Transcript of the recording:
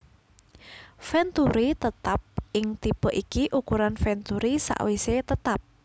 Venturi Tetap ing tipe ikii ukuran venturi sakwise tetap